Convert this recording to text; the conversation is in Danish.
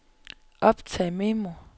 optag memo